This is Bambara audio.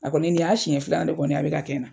A kɔni nin y'a siɲɛ filanan de kɔni a bɛ ka kɛ na.